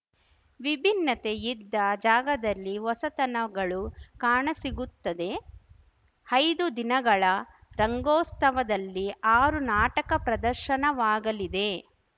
ವಿಭಿನ್ನತೆ ಇದ್ದ ಜಾಗದಲ್ಲಿ ಹೊಸತನಗಳು ಕಾಣಸಿಗುತ್ತದೆ ಐದು ದಿನಗಳ ರಂಗೋಸ್ತವದಲ್ಲಿ ಆರು ನಾಟಕ ಪ್ರದರ್ಶನವಾಗಲಿದೆ